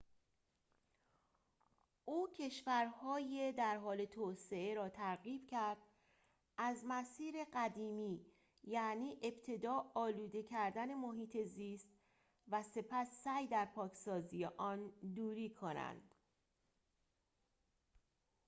او کشورهای در حال توسعه را ترغیب کرد از مسیر قدیمی یعنی ابتدا آلوده کردن محیط زیست و سپس سعی در پاکسازی آن دوری کنند